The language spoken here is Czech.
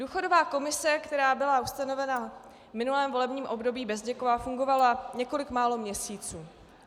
Důchodová komise, která byla ustanovena v minulém volebním období, Bezděkova, fungovala několik málo měsíců.